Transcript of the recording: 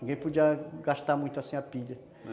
Ninguém podia gastar muito assim a pilha.